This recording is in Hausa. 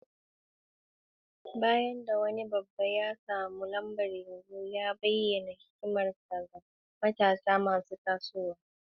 Bayan da wani babba ya samu lambar yabo, ya bayyana hikimarsa ga matasa masu tasowa.